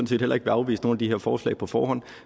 set heller ikke vil afvise nogen af de her forslag på forhånd